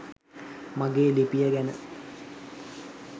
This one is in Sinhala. මගේ ලිපිය ගැන.